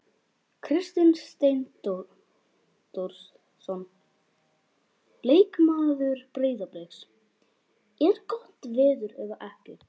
Kristinn Steindórsson leikmaður Breiðabliks: Er gott veður eða ekki?